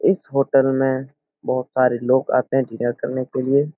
इस होटल में बहुत सारे लोग आते हैं डिनर करने के लिए ।